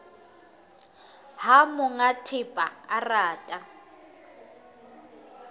ha monga thepa a rata